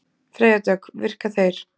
Freyja Dögg: Virka þeir?